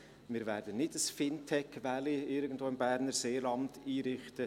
Wir werden nicht ein Fintech-Valley irgendwo im Berner Seeland einrichten.